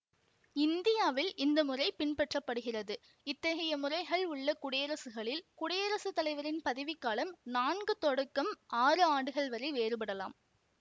இந்தியாவில் இந்த முறை பின்பற்ற படுகிறது இத்தகைய முறைகள் உள்ள குடியரசுகளில் குடியரசு தலைவரின் பதவிக் காலம் நான்கு தொடக்கம் ஆறு ஆண்டுகள் வரை வேறுபடலாம்